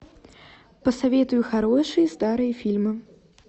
посоветуй хорошие старые фильмы